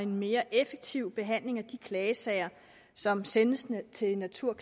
mere effektiv behandling af de klagesager som sendes til natur